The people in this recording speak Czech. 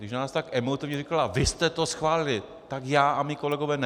Když nám tak emotivně říkala "vy jste to schválili", tak já a mí kolegové ne.